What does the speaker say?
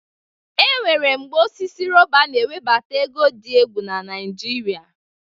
E nwere mgbe osisi rọba na-ewebata ego dị egwu na Naịjịrịa.